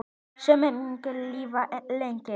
Sú minning mun lifa lengi.